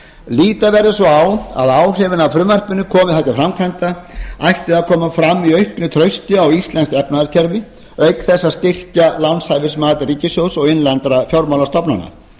líta verður svo á að áhrifin af frumvarpinu komi það til framkvæmda ættu að koma fram í auknu trausti á íslenskt efnahagskerfi auk þess að styrkja lánshæfismat ríkissjóðs og innlendra fjármálastofnana